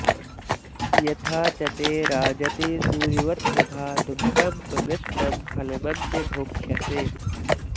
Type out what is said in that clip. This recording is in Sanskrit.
यथा च ते राजति सूर्यवत्प्रभा ध्रुवं त्वमिष्टं फलमद्य भोक्ष्यसे